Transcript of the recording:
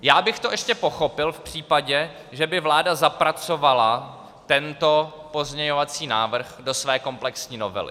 Já bych to ještě pochopil v případě, že by vláda zapracovala tento pozměňovací návrh do své komplexní novely.